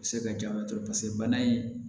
Se ka jaba tobi paseke bana in